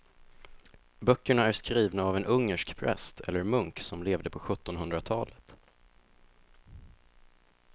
Böckerna är skrivna av en ungersk präst eller munk som levde på sjuttonhundratalet.